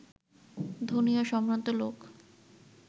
ধনী ও সম্ভ্রান্ত লোক